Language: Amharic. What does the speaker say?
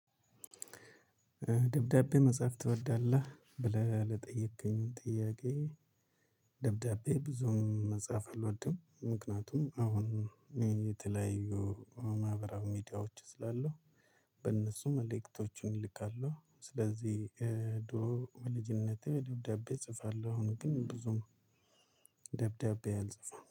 ደብዳቤ መጽሐፍ ትወዳለህ ብለህ ለጠየቅከኝ ጥያቄ? ደብዳቤ ብዙም መጻፍ አልወድም። ምክንያቱም አሁን የተለያዩ ማህበራዊ ሚዲያዎች ስላሉ በእነሱ መልእክቶችን ይልካሉ። ስለዚህ ድሮ በልጅነቴ ደብዳቤ እጽፋለሁ። አሁን ግን ብዙም ደብዳቤ አልጽፋም